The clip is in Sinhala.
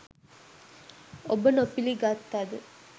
ඔබ නොපිළිගත්තද